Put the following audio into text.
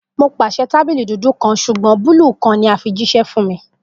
Mo paṣẹ tabili dudu kan ṣugbọn ti a fi jiṣẹ buluu kan fun mi